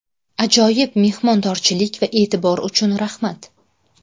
Ajoyib mehmondorchilik va e’tibor uchun raxmat.